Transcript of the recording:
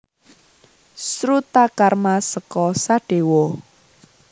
Srutakarma seka Sadewa